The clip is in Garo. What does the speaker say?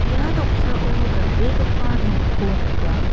ia noksao dal·begipa nokko nika.